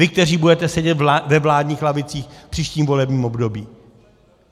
Vy, kteří budete sedět ve vládních lavicích v příštím volebním období?